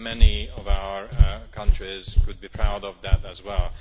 Many of our countries could be proud of that as well.